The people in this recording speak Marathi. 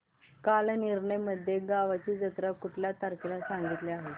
कालनिर्णय मध्ये गावाची जत्रा कुठल्या तारखेला सांगितली आहे